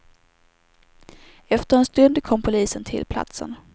Efter en stund kom polisen till platsen.